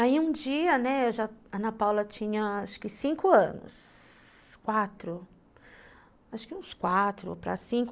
Aí um dia, né, a Ana Paula tinha acho que cinco anos, quatro, acho que uns quatro para cinco.